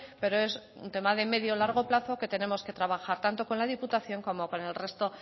pero es un tema de medio largo plazo que tenemos que trabajar tanto con la diputación como con el resto